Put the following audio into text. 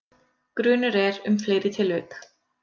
Grunur er um fleiri tilvik